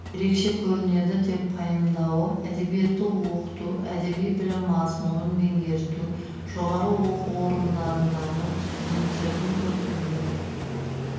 ерекше көрінеді деп пайымдауы әдебиетті оқыту әдеби білім мазмұнын меңгерту жоғары оқу орындарындағы студенттердің көркемдік